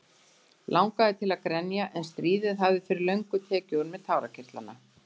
Langaði til að grenja en stríðið hafði fyrir löngu tekið úr mér tárakirtlana.